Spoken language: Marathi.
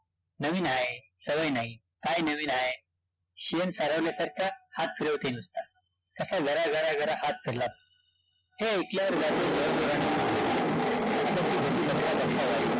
नवीन हाय, सवय नाही, काय नवीन हाय? शेणं सारवल्यासारखा हात फिरवते नुसता, कसा गरा-गरा-गरा हात फिरला हे ऐकल्यावर